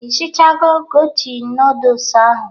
Ishichago godin nudus ahụ?